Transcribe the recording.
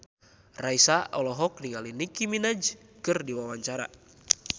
Raisa olohok ningali Nicky Minaj keur diwawancara